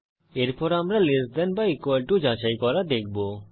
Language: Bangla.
এরপর আমরা লেস দেন বা ইকুয়াল টু যাচাই করা দেখব